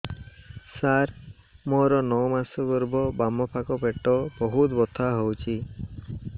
ସାର ମୋର ନଅ ମାସ ଗର୍ଭ ବାମପାଖ ପେଟ ବହୁତ ବଥା ହଉଚି